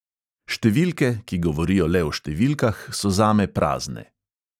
Številke, ki govorijo le o številkah, so zame prazne.